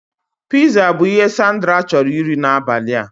Piza bụ ihe Sandra chọrọ iri n'abalị a